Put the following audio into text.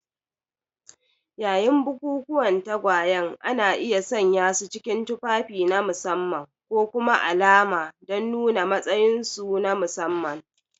Yayin bukukuwan tagwayen, ana iya sanyasu cikin tufafi na musamman ko kuma alama don nuna matsayinsu na musamman.